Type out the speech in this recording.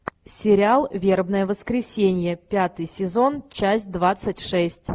сериал вербное воскресенье пятый сезон часть двадцать шесть